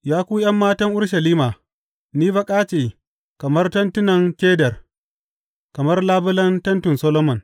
Ya ku ’yan matan Urushalima, ni baƙa ce kamar tentunan Kedar, kamar labulen tentin Solomon.